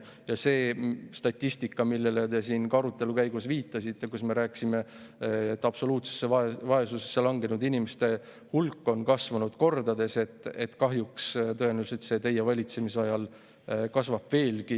Ja see statistika, millele te siin arutelu käigus viitasite, kus me rääkisime, et absoluutsesse vaesusesse langenud inimeste hulk on kasvanud kordades – kahjuks kasvab see tõenäoliselt teie valitsemisajal veelgi.